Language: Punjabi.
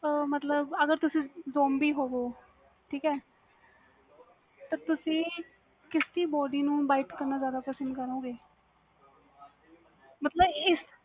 ਆ ਮਤਬਲ ਅਗਰ ਤੁਸੀ zombi ਹੋਵੋ ਤੇ ਤੁਸੀ ਕਿਸ ਕਿ body ਨੂੰ bite ਕਰਨਾ ਜਿਆਦਾ ਪਸੰਦ ਕਰੋਗੇ ਮਤਬਲ